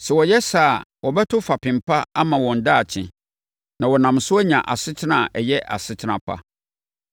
Sɛ wɔyɛ saa a, wɔbɛto fapem pa ama wɔn daakye. Na wɔnam so anya asetena a ɛyɛ asetena pa.